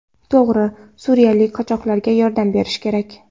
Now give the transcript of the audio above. To‘g‘ri, suriyalik qochoqlarga yordam berish kerak.